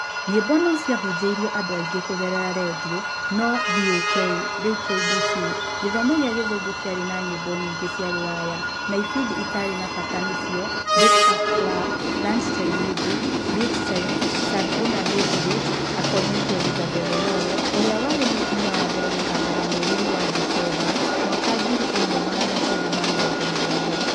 Nyĩmbo no ciahunjĩrio andũ aingĩ kũgerera rendio no VOK(rĩu nĩ KBC) gĩthomo kĩa gĩthũngũ, kĩarĩ na nyĩmbo nyingĩ cia rũraya na ibindi itarĩ na bata nĩcio breakfast club, lunch time music, beat time, Sundowner na late date according to Elizabeth Omollo, ũrĩa arĩ mũtumia wa mbere gũtangatha mweri-inĩ wa Dicemba 1970.